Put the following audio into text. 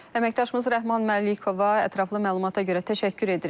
Əməkdaşımız Rəhman Məlikova ətraflı məlumata görə təşəkkür edirik.